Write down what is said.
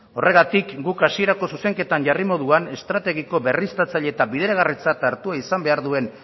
horregatik guk hasierako zuzenketa jarri moduan estrategiko berriztatzaile eta bideragarritzat hartua izan behar duen